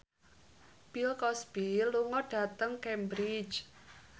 Bill Cosby lunga dhateng Cambridge